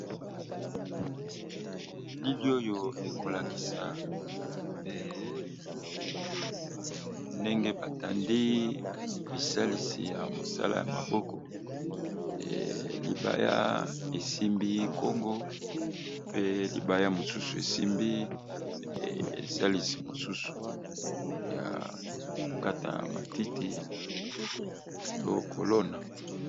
Elili oyo ekolakisa ndenge batandi bisalisi ya mosala ya maboko libaya esimbi nkongo pe libaya mosusu esimbi esalisi mosusu ya kokata matiti to kolona